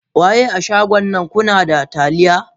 Waye a shagon nan kunada taliya.?